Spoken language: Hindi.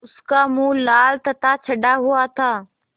उसका मुँह लाल तथा चढ़ा हुआ था